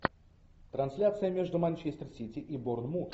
трансляция между манчестер сити и борнмут